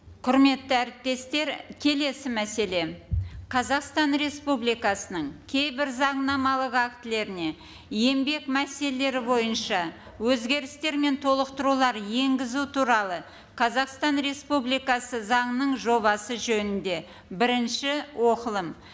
құрметті әріптестер келесі мәселе қазақстан республикасының кейбір заңнамалық актілеріне еңбек мәселелері бойынша өзгерістер мен толықтырулар енгізу туралы қазақстан республикасы заңының жобасы жөнінде бірінші оқылым